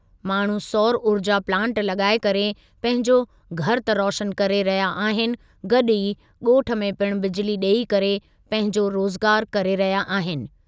माण्हू सौर ऊर्जा प्लांट लॻाए करे पंहिंजो घरु त रोशनु करे रहिया आहिनि गॾु ई ॻोठ में पिणु बिजिली ॾेई करे पंहिंजो रोज़गारु करे रहिया आहिनि।